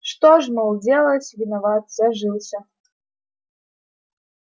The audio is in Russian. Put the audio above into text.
что ж мол делать виноват зажился